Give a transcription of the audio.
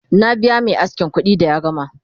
na biya Mai askin kuɗi da ya gama